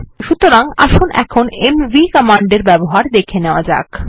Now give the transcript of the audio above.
সুতরাং আসুন কিভাবে এমভি কমান্ডের ব্যবহার দেখে নেওয়া যাক